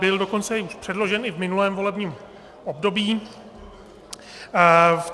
Byl dokonce předložen i v minulém volebním období.